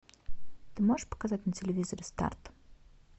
ты можешь показать на телевизоре старт